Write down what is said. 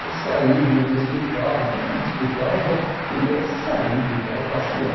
Eu saí do do hospital, mesmo no hospital eu já queria sair de casa, passear.